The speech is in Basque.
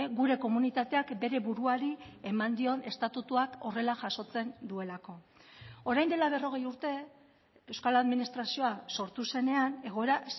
gure komunitateak bere buruari eman dion estatutuak horrela jasotzen duelako orain dela berrogei urte euskal administrazioa sortu zenean egoera